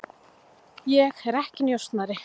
Ég er ekki njósnari.